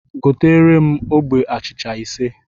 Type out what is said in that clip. Goteere m ogbe achịcha ise!